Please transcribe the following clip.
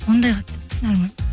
ондай қатты